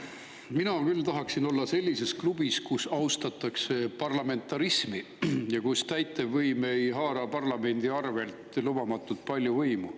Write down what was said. Mina küll tahaksin olla sellises klubis, kus austatakse parlamentarismi ja kus täitevvõim ei haara parlamendi arvelt lubamatult palju võimu.